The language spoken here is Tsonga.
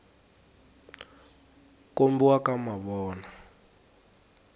kombiwa ka mavona